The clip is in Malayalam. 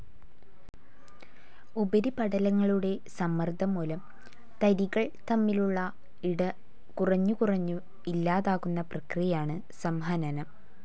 ഉപരിപടലങ്ങളുടെ സമ്മർദ്ദംമൂലം തരികൾ തമ്മിലുള്ള ഇട കുറഞ്ഞുകുറഞ്ഞു ഇല്ലാതാകുന്ന പ്രക്രിയയാണ് സംഹനനം.